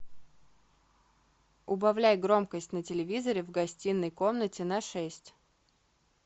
убавляй громкость на телевизоре в гостиной комнате на шесть